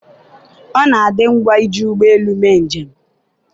ọ na-adị ngwa iji ụgbọ elu mee njem